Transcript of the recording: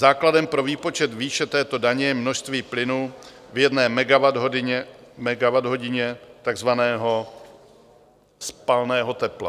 Základem pro výpočet výše této daně je množství plynu v jedné megawatthodině, takzvaného spalného tepla.